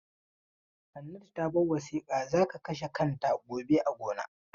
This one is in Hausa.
Hannatu ta bar wasiƙa za ka kashe kanta gobe a gona.